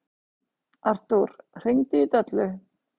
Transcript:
Artúr, hringdu í Döllu.